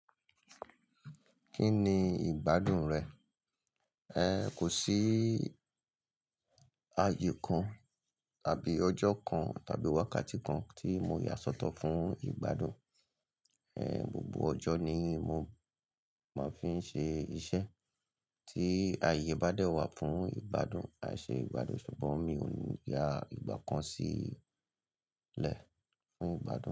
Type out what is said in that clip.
Kí ni ìgbádùn rẹ̀? Ẹ kò sí ayè kan tàbí ọjọ́ kan tàbí wákàtí kan tí mo yà sọ́tọ̀ fún ìgbádùn. Gbogbo ọjọ́ ni mo máa ń fi ń ṣe iṣẹ́ tí ayé bá dẹ́ wá fún ìgbádùn, àìṣe ìgbádùn, ṣùgbọ́n mi ò ní yà ìgbà kan sílẹ̀ fún ìgbádùn.